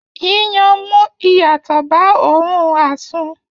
yíyan n mú ìyàtọ̀ ba óòrun àsun.